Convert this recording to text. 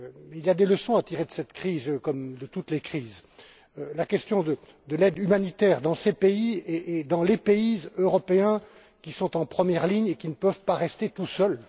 Il y a des leçons à tirer de cette crise, comme de toutes les crises la question de l'aide humanitaire dans ces pays et dans les pays européens qui sont en première ligne et qui ne peuvent pas rester tout seuls